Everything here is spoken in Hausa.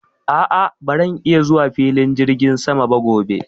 a'a baran iya zuwa filin jirgin sama ba gobe